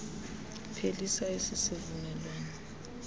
phelisa esi sivumelwano